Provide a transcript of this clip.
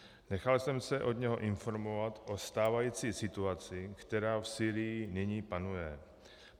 Nechal jsem se od něho informovat o stávající situaci, která v Sýrii nyní panuje.